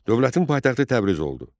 Dövlətin paytaxtı Təbriz oldu.